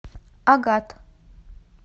агат